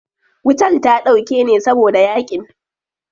Wutar ta dauke ne saboda yaƙin.